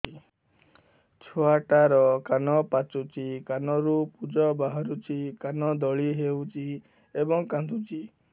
ଛୁଆ ଟା ର କାନ ପାଚୁଛି କାନରୁ ପୂଜ ବାହାରୁଛି କାନ ଦଳି ହେଉଛି ଏବଂ କାନ୍ଦୁଚି